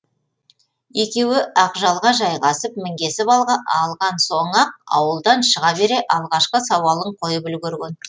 екеуі ақжалға жайғасып мінгесіп алған соң ақ ауылдан шыға бере алғашқы сауалын қойып үлгірген